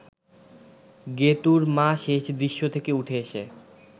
গেতুঁর মা শেষ দৃশ্য থেকে উঠে এসে